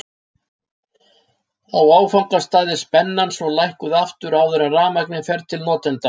á áfangastað er spennan svo lækkuð aftur áður en rafmagnið fer til notenda